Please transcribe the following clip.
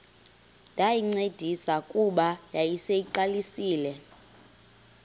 ndayincedisa kuba yayiseyiqalisile